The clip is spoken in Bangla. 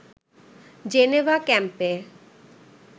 জেনেভা ক্যাম্পে